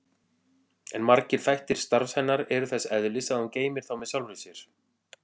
En margir þættir starfs hennar eru þess eðlis að hún geymir þá með sjálfri sér.